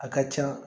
A ka ca